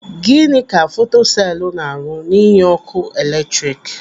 Gịnị ka fotoselu na-arụ n'inye ọkụ eletrik?